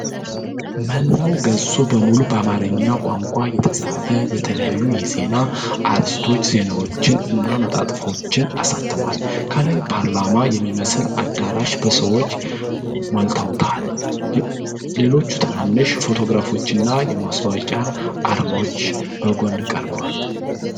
መላው ገጹ በሙሉ በአማርኛ ቋንቋ የተፃፉ የተለያዩ የዜና አርዕስተ ዜናዎችን እና መጣጥፎችን አሳትሟል። ከላይ ፓርላማ የሚመስል አዳራሽ በሰዎች ሞልተዏል፡፡ ሌሎች ትናንሽ ፎቶግራፎችና የማስታወቂያ አርማዎች በጎን ቀርበዋል።